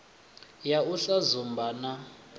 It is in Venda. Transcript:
ya u sa dzumba na